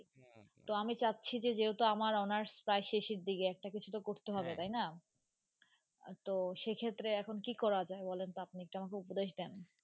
তো আমি চাচ্ছি যে আমার যে হাটু আমার আমের প্রায় সেসের দিকে একটা কিছু তো করতে হবে তাই না তো সে ক্ষেত্রে এখন তো এখন কি করা যাই বলেন তো আপনি একটু আমাকে উপদেশ দান।